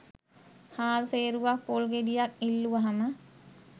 හාල් සේරුවක්‌ පොල් ගෙඩියක්‌ ඉල්ලුවහම